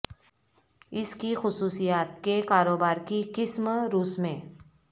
اس کی خصوصیات کے کاروبار کی قسم روس میں